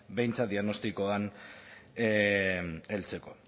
behintzat diagnostikoan heltzeko